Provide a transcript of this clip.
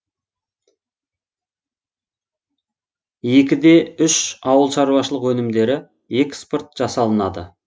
екі де үш ауылшаруашылқ өнімдері экспорт жасалынады